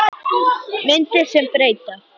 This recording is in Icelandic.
Myndir sem breyta